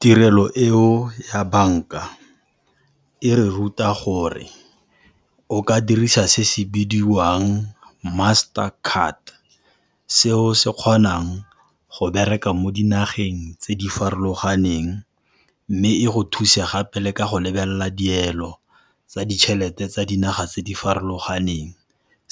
Tirelo eo ya banka, e re ruta gore o ka dirisa se se bidiwang master card, seo se kgonang go bereka mo dinageng tse di farologaneng mme e go thuse gape le ka go lebelela dielo tsa ditjhelete tsa dinaga tse di farologaneng.